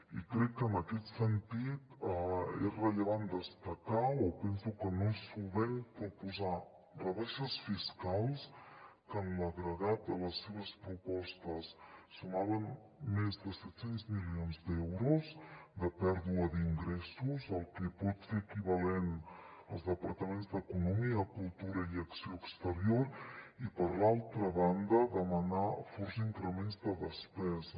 i crec que en aquest sentit és rellevant destacar o penso que no és solvent proposar rebaixes fiscals que en l’agregat de les seves propostes sumaven més de set cents milions d’euros de pèrdua d’ingressos el que pot ser equivalent als departaments d’economia cultura i acció exterior i per altra banda demanar forts increments de despesa